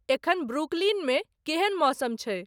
एखन ब्रुकलिन में केहेन मौसम छै